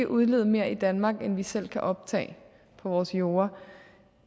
udlede mere i danmark end vi selv kan optage på vores jorde